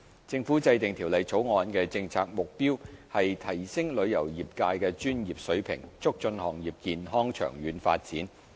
政府制定《條例草案》的政策目標，是提升旅遊業界的專業水平，促進行業健康長遠發展。